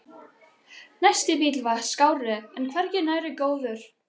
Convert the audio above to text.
Næsti bíll var skárri en hvergi nærri góður.